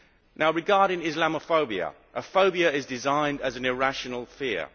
Now regarding Islamophobia, a phobia is defined as an irrational fear.